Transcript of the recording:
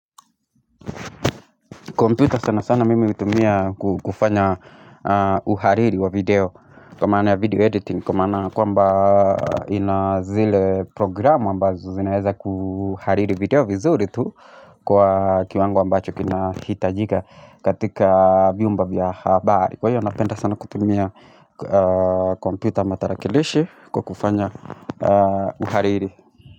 Kompyuta sana sana mimi hutumia kufanya uhariri wa video. Kwa maana video editing, kwa maana kwamba ina zile programu ambazo zinaeza kuhariri video vizuri tu kwa kiwango ambacho kinahitajika katika vyumba vya habari. Kwa hiyo napenda sana kutumia kompyuta ama tarakilishi kwa kufanya uhariri.